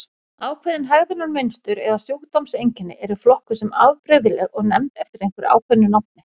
Ákveðin hegðunarmynstur eða sjúkdómseinkenni eru flokkuð sem afbrigðileg og nefnd einhverju ákveðnu nafni.